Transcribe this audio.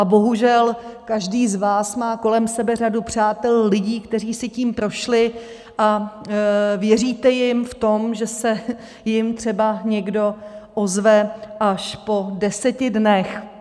A bohužel každý z vás má kolem sebe řadu přátel, lidí, kteří si tím prošli, a věříte jim v tom, že se jim třeba někdo ozve až po deseti dnech.